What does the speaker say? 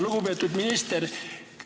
Lugupeetud minister!